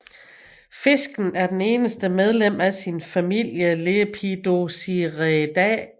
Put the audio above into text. Fisken er det eneste medlem af sin familie Lepidosirenidae